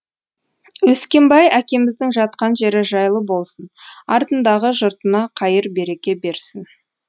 өскенбай әкеміздің жатқан жері жайлы болсын артындағы жұртына қайыр береке берсін